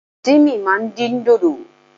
Tímì ma din dodo.